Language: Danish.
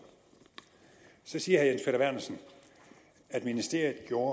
så siger herre jens peter vernersen at ministeriet gjorde